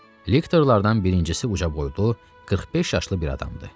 Lektorlardan birincisi uca boylu, 45 yaşlı bir adamdır.